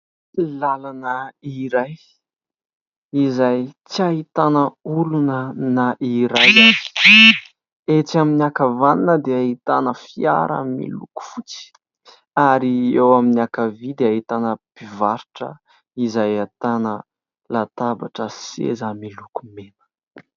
Làlana iray izay tsy ahitana olona na iray ary ; etsy amin'ny ankavanana dia ahitana fiara miloko fotsy ary eo amin'ny ankavia dia ahitana mpivarotra, izay ahitana latabatra sy seza miloko mena.